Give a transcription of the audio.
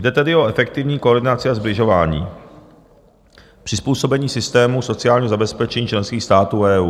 Jde tedy o efektivní koordinaci a sbližování - přizpůsobení systémů sociálního zabezpečení členských států EU.